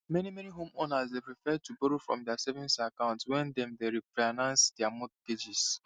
meni meni homeowners dey prefer to borrow from dia savings account wen dem dey refinance dia mortgages